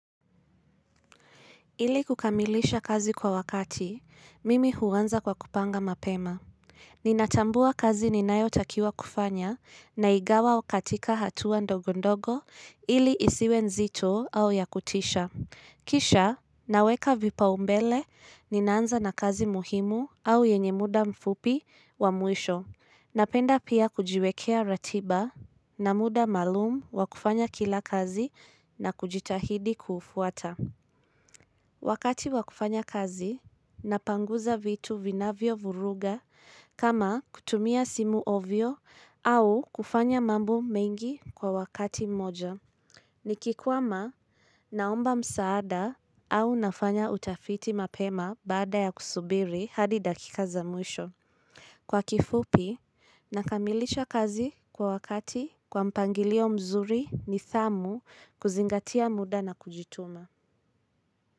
Ili kukamilisha kazi kwa wakati, mimi huanza kwa kupanga mapema. Ninatambua kazi ninayotakiwa kufanya na ingawa katika hatua ndogondogo ili isiwe nzito au ya kutisha. Kisha, naweka vipaumbele, ninaanza na kazi muhimu au yenye muda mfupi wa mwisho. Napenda pia kujiwekea ratiba na muda maalum wa kufanya kila kazi na kujitahidi kuufuata. Wakati wakufanya kazi, napanguza vitu vinavyo vuruga kama kutumia simu ovyo au kufanya mambo mengi kwa wakati moja. Nikikwama naomba msaada au nafanya utafiti mapema baada ya kusubiri hadi dakika za mwisho. Kwa kifupi, nakamilisha kazi kwa wakati, kwa mpangilio mzuri, nidhamu, kuzingatia muda na kujituma.